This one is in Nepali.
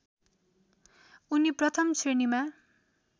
उनी प्रथम श्रेणीमा